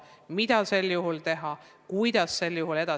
Te olete meedias selgitanud riigieksamite edasilükkumist, aga see küsimus püsib ikka.